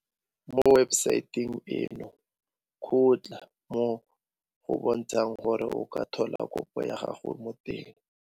Mo webesaeteng eno kgotla mo go bontshang gore o ka tlhola kopo ya gago mo teng.